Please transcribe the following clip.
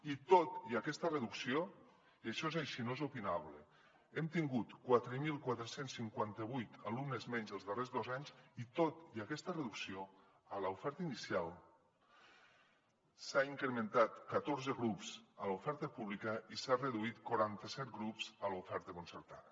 i tot i aquesta reducció i això és així no és opinable hem tingut quatre mil quatre cents i cinquanta vuit alumnes menys els darrers dos anys a l’oferta inicial s’han incrementat catorze grups a l’oferta pública i s’han reduït quaranta set grups a l’oferta concertada